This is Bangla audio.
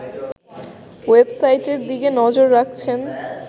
ওয়েবসাইটের দিকে নজর রাখছেন